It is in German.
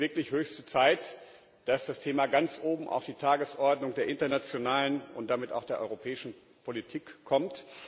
Es ist wirklich höchste Zeit, dass das Thema ganz oben auf die Tagesordnung der internationalen und damit auch der europäischen Politik kommt.